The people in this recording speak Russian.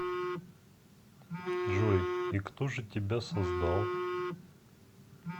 джой и кто же тебя создал